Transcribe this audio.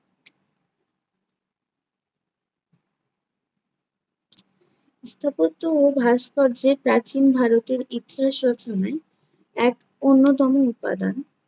স্থাপত্য ও ভাস্কর্যে প্রাচীন ভারতের ইতিহাস রচনায় এক অন্যতম উপাদান